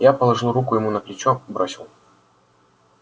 я положил руку ему на плечо бросил